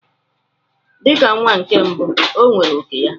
Dị ka nwa nke mbụ, o nwere òkè ya.